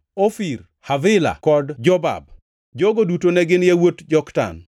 Ofir, Havila kod Jobab. Jogo duto ne gin yawuot Joktan.